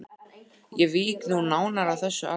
Ég vík nú nánar að þessu atriði.